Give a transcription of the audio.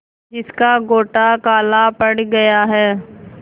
जिसका गोटा काला पड़ गया है